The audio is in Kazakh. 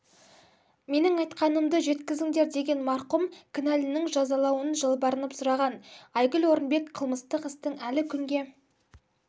менің айтқанымды жеткізіңдер деген марқұм кінәлінің жазалануын жалбарынып сұраған айгүл орынбек қылмыстық істің әлі күнге